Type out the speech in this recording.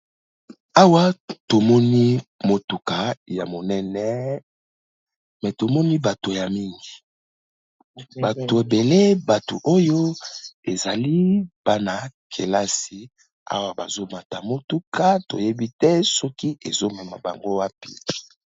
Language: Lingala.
Awa tomoni motuka ya monene me tomoni bato ya mingi, bato ebele bato oyo ezali bana-kelasi awa bazo mata motuka toyebi te soki ezo mema bango wapi.